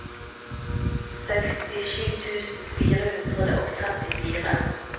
sekstisju tusen fire hundre og trettifire